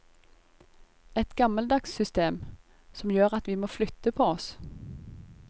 Et gammeldags system, som gjør at vi må flytte på oss.